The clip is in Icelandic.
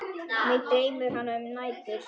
Mig dreymir hana um nætur.